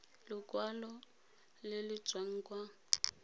lekwalo le le tswang kwa